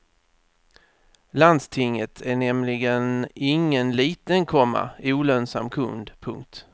Landstinget är nämligen ingen liten, komma olönsam kund. punkt